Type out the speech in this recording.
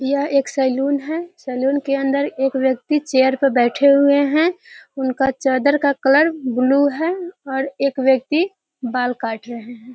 यह एक सैलून है। सैलून के अंदर एक व्यक्ति चेयर पे बैठे हुए हैं। उनका चादर का कलर ब्लू है और एक व्यक्ति बाल काट रहें हैं।